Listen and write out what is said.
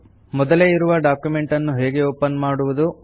ಮೊದಲೇ ಇರುವ ಡಾಕ್ಯುಮೆಂಟ್ ಅನ್ನು ಹೇಗೆ ಓಪನ್ ಮಾಡುವುದು